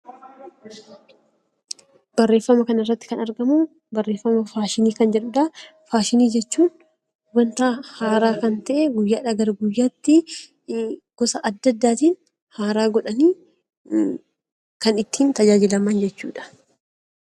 Faashinii jechuun wanta haaraa ta'e guyyaa gara guyyaatti gosa adda addaatiin haaraa godhanii kan ittiin tajaajilaman jechuudha